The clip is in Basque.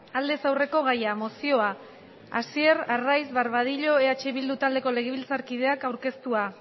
aldez aurreko gaia mozioa hasier arraiz barbadillo eh bildu taldeko legebiltzarkideak aurkeztua